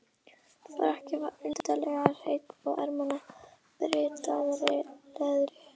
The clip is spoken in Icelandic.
Frakkinn var undarlega hreinn, og ermarnar bryddaðar leðri.